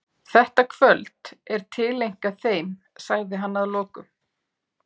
Þetta kvöld er tileinkað þeim, sagði hann að lokum.